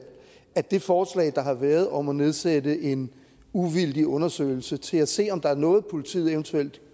at det forslag der har været om at nedsætte en uvildig undersøgelse til at se om der er noget politiet eventuelt